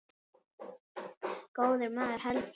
Góður maður held ég.